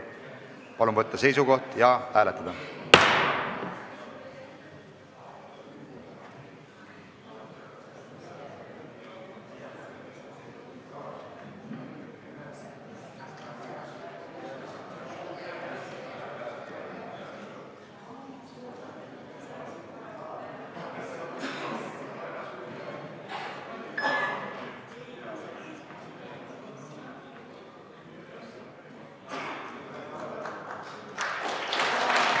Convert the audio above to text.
Palun võtta seisukoht ja hääletada!